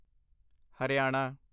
Haryana